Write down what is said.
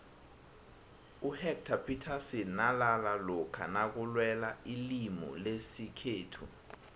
uhectarr phithasini nalala lokha nakulwelwailimulesikhethu